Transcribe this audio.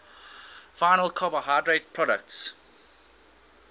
final carbohydrate products